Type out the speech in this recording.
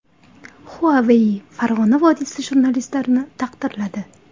Huawei Farg‘ona vodiysi jurnalistlarini taqdirladi.